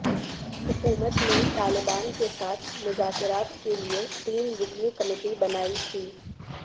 حکومت نے طالبان کے ساتھ مذاکرات کے لیے تین رکنی کمیٹی بنائی تھی